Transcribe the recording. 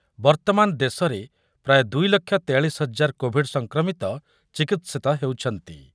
ବର୍ତ୍ତମାନ ଦେଶରେ ପ୍ରାୟ ଦୁଇ ଲକ୍ଷ ତେୟାଳିଶି ହଜାର କୋଢି କୋଭିଡ୍ ସଂକ୍ରମିତ ଚିକିତ୍ସିତ ହେଉଛନ୍ତି ।